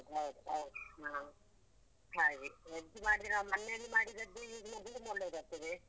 ಹೌದ್ ಹೌದ್ ಹೌದು ಹಾ ಹಾಗೆ veg ಮಾಡಿದ್ರೆ ಮನೇಲಿ ಮಾಡಿದ್ದೆ use ಮಾಡಿದ್ರೆ ಒಳ್ಳೆದಾಗ್ತದೆ.